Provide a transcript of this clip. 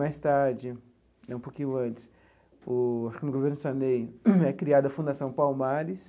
Mais tarde, um pouquinho antes, no governo Sarney, é criada a Fundação Palmares.